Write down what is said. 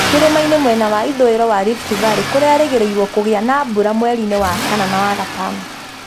Kĩrĩmainĩ mwena wa ithũĩro wa Rift Valley kũrerĩgĩrĩirũo kũgĩa na mbura mweri-inĩ wa kana na wagatano.